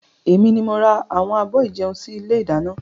Èmi ni mo ra àwọn abọ́ ìjẹun sì ilé ìdáná.